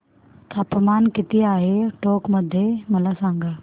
तापमान किती आहे टोंक मध्ये मला सांगा